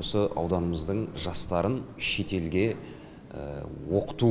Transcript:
осы ауданымыздың жастарын шетелге оқыту